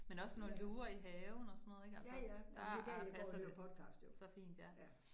Men også når luger i haven og sådan noget ikke altså, der er passer det så fint ja